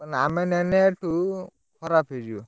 ଆମେ ନେନେ ଏଠୁ ଖରାପ୍ ହେଇଯିବ।